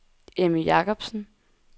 Emmy Jacobsen